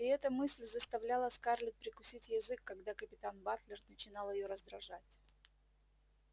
и эта мысль заставляла скарлетт прикусить язык когда капитан батлер начинал её раздражать